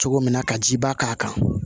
Cogo min na ka jiba k'a kan